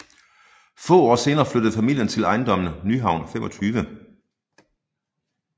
Få år senere flyttede familien ind i ejendommen Nyhavn 25